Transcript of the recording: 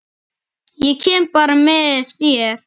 Ég kem bara með þér!